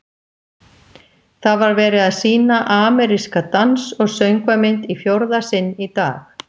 Það var verið að sýna ameríska dans- og söngvamynd í fjórða sinn í dag.